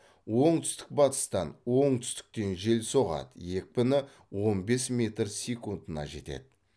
оңтүстік батыстан оңтүстіктен жел соғады екпіні он бес метр секундына жетеді